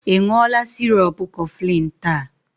Ị ṅụọla sirop Cofflin taa?